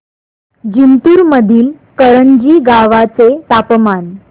जिंतूर मधील करंजी गावाचे तापमान